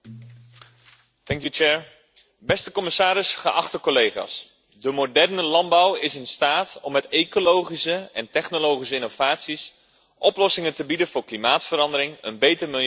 Beste commissaris, geachte collega's, de moderne landbouw is in staat om met ecologische en technologische innovaties oplossingen te bieden voor klimaatverandering, een beter milieu en meer biodiversiteit.